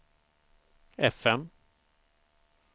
fm